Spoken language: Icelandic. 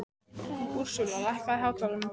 Úrsúla, lækkaðu í hátalaranum.